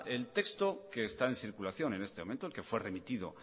bien el texto que está en circulación en este momento que fue remitido